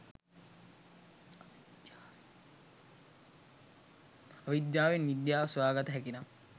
අවිද්‍යාවෙන් විද්‍යාව සොයා ගත හැකිනම්